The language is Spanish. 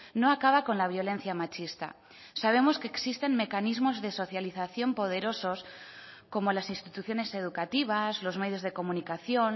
no acaba con la violencia machista sabemos que existen mecanismos de socialización poderosos como las instituciones educativas los medios de comunicación